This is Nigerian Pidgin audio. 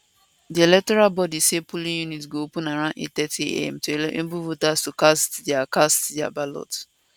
di electoral body say polling units go open around 830am to enable voters to cast dia cast dia ballots